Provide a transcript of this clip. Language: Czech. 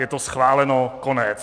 Je to schváleno, konec.